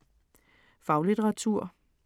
Faglitteratur